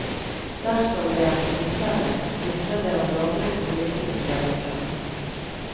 Dersom det er tilfelle, vitner det om dårlig politisk dømmekraft.